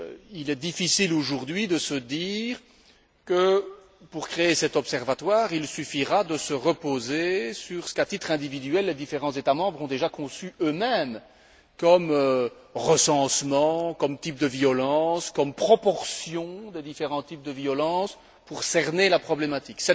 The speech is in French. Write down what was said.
Il est difficile aujourd'hui de se dire que, pour créer cet observatoire, il suffira de se reposer sur ce que les différents États membres ont déjà conçu eux mêmes à titre individuel comme recensement, comme type de violence, comme proportion des différents types de violence, pour cerner la problématique.